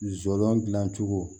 Zolo dilan cogo